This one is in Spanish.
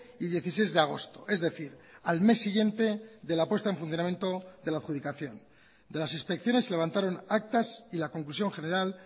y dieciséis de agosto es decir al mes siguiente de la puesta en funcionamiento de la adjudicación de las inspecciones se levantaron actas y la conclusión general